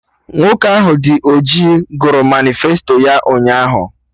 Nwoke ahụ dị ọjị gụrụ manịfesto ya ụnyaahụ